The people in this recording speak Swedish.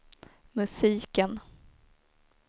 musiken